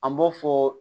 An b'o fɔ